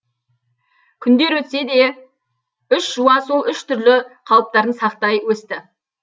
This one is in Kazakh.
күндер өтсе де үш жуа сол үш түрлі қалыптарын сақтай өсті